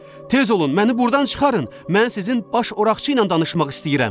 Tez olun, məni burdan çıxarın, mən sizin baş Oraqçı ilə danışmaq istəyirəm.